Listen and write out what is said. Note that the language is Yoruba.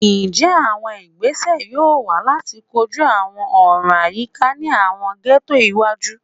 Njẹ awọn igbese yoo wa lati koju awọn ọran ayika ni awọn ghettos iwaju?